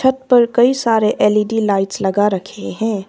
ऊपर कई सारे एल_इ_डी लाइट्स लगा रखे हैं।